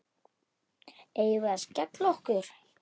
Eigum við að skella okkur?